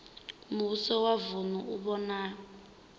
muvhuso wa vunu u vhona